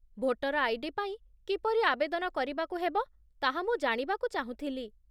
Voter ID. ପାଇଁ କିପରି ଆବେଦନ କରିବାକୁ ହେବ, ତାହା ମୁଁ ଜାଣିବାକୁ ଚାହୁଁଥିଲି